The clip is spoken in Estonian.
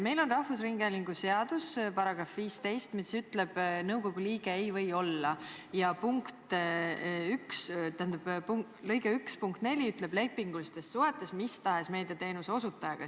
Eesti Rahvusringhäälingu seaduse § 15 ütleb, kes ei või nõukogu liige olla, ja lõike 1 punkt 4 ütleb, et ta ei või olla lepingulistes suhetes, mis tahes meediateenuse osutajaga.